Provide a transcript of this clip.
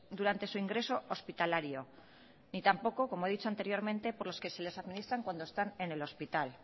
durante su ingreso hospitalario ni tampoco como he dicho anteriormente por los que se les administran cuando están en el hospital